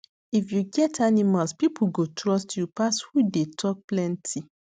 if you get animals people go trust you pass who dey talk plenty